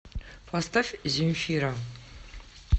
поставь земфира